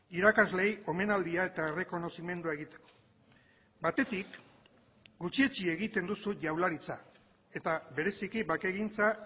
irakasleei omenaldia eta errekonozimendua egiteko batetik gutxietsi egiten duzu jaurlaritza eta bereziki bakegintza